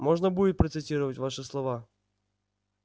можно будет процитировать ваши слова